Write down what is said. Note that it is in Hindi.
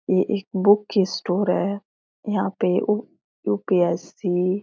ये एक बुक की स्टोर है यहाँ पे ऊ यू.पी.एस.सी. --